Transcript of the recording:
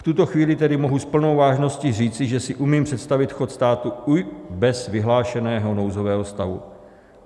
V tuto chvíli tedy mohu s plnou vážností říci, že si umím představit chod státu i bez vyhlášeného nouzového stavu.